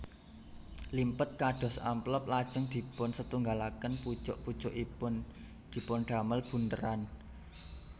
Limpet kados amplop lajeng dipunsetunggalaken pucuk pucukipun dipundamel bundheran